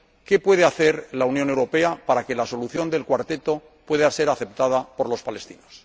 ¿Qué puede hacer la Unión Europea para que la solución de El Cuarteto pueda ser aceptada por los palestinos?